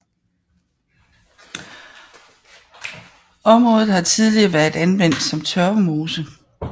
Området har tidligere været anvendt som tørvemose